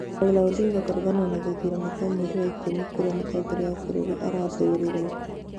Raila Odinga kũregana na gĩthurano kĩa mweri wa ikũmi kũrĩa Mũtongoria wa bũrũri arathurirwo